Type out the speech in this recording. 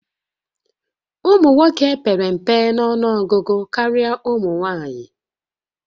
Ụmụ nwoke pere mpe nọnụọgụgụ karịa ụmụ nwanyị